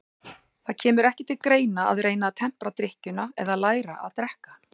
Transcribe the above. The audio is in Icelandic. Það kemur ekki til greina að reyna að tempra drykkjuna eða læra að drekka.